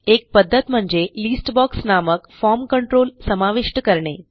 एक पध्दत म्हणजे लिस्ट बॉक्स नामक फॉर्म कंट्रोल समाविष्ट करणे